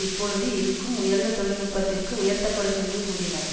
இப்பொழுது இருக்கும் உயர்ந்த தொழில்நுட்பத்திற்கு உயர்த்தப்படும் என்றும் கூறினர்